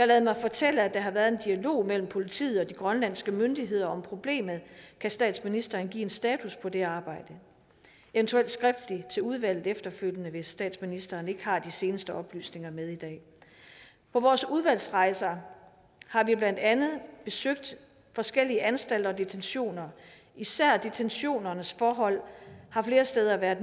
ladet mig fortælle at der har været en dialog mellem politiet og de grønlandske myndigheder om problemet kan statsministeren give en status på det arbejde eventuelt skriftligt til udvalget efterfølgende hvis statsministeren ikke har de seneste oplysninger med i dag på vores udvalgsrejser har vi blandt andet besøgt forskellige anstalter og detentioner især detentionernes forhold har flere steder været